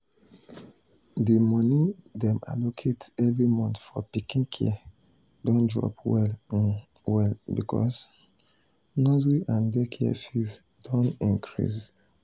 the money dem allocate every month for pikin care don drop well um well because um nursery and daycare fees don increase.